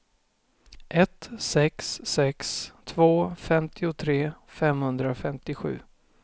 ett sex sex två femtiotre femhundrafemtiosju